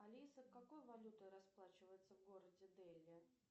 алиса какой валютой расплачиваются в городе дели